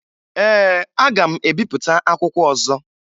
Ee, aga m ebipụta akwụkwọ ọzọ